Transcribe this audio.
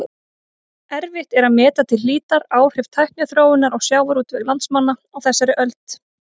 Erfitt er að meta til hlítar áhrif tækniþróunar á sjávarútveg landsmanna á þessari öld.